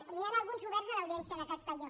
n’hi han alguns oberts a l’audiència de castelló